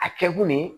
A kɛ kun ye